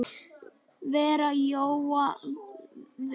verð Jóa Fel.